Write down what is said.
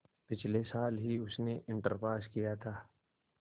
पिछले साल ही उसने इंटर पास किया था